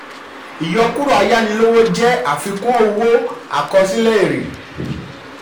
òfin: ìyọkúrò ayánilówó ìyọkúrò ayánilówó jẹ́ àfihàn lóri àfikún owó àkọsílẹ̀ èrè.